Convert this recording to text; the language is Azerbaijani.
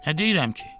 Nə deyirəm ki?